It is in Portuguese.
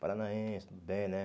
Paranaense, tudo bem, né?